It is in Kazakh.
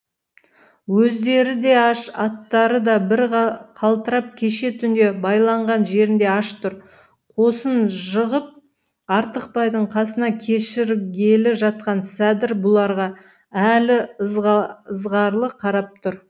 өздері де аш аттары да бір қалтырап кеше түнде байланған жерінде аш тұр қосын жығып артықбайдың қасына кешіргелі жатқан сәдір бұларға әлі ьызғарлы қарап тұр